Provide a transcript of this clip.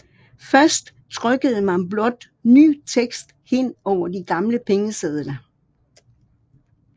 Først trykkede man blot ny tekst hen over de gamle pengesedler